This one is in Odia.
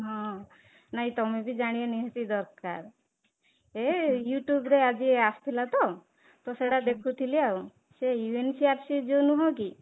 ହଁ, ନାଇଁ ତମେ ବି ଜାଣିବା ନିହାତି ଦରକାର ୟେ you tube ଆଜି ଆସୁଥିଲା ତ, ତ ସେଇଟା ଦେଖୁଥିଲି ଆଉ ସେ UNCRC ଯୋଉ ନୁହଁ କି